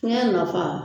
Fiɲɛ nafa